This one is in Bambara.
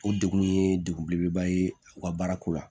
O degun ye degun belebeleba ye u ka baara ko la